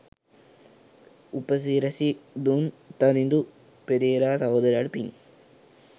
උප සිරැසි දුන් තරිඳු පෙරේරා සහෝදරයාට පිං.